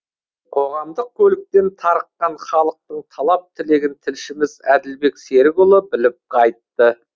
қоғамдық көліктен тарыққан халықтың талап тілегін тілшіміз әділбек серікұлы біліп қайтты